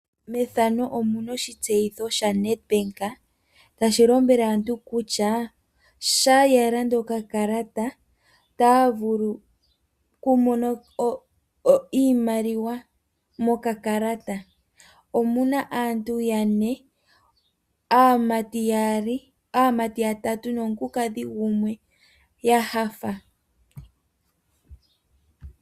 Methano omuna oshitseyitho shaNedbank tashi lombwele aantu kutya sha ya landa okakalata, ota vulu ku mona iimaliwa mokakalata. Omuna aantu yane. Aamati yatatu nomukulu kala gumwe ya nyanyukwa.